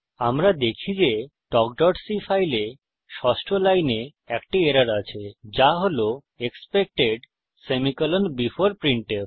আমরা দেখি যে talkসি ফাইলে ষষ্ঠ লাইনে একটি এরর আছে যা হল এক্সপেক্টেড সেমিকোলন বেফোর প্রিন্টফ